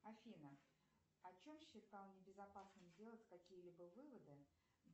афина о чем считал небезопасным делать какие либо выводы